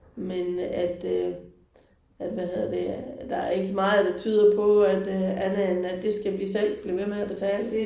Men at øh at hvad hedder det der er ikke meget der tyder på at øh andet end at det skal vi selv blive ved med at betale